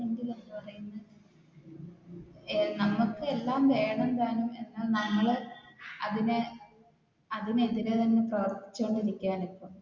നമുക്ക് എല്ലാം വേണം താനും എന്നാൽ നമ്മൾ അതിനെ അതിനെതിരെ പ്രവർത്തികൊണ്ട് ഇരിക്കുകയാണ് ഇപ്പൊ